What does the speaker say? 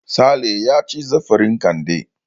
Sale ya ci zarafin Kande.